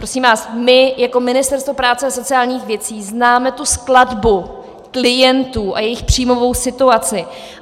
Prosím vás, my jako Ministerstvo práce a sociálních věcí známe tu skladbu klientů a jejich příjmovou situaci.